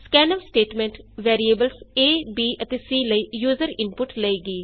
scanf statement variables A B ਅਤੇ C ਲਈ user input ਲਏਗੀ